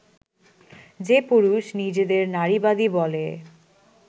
যে পুরুষ নিজেদের নারীবাদী বলে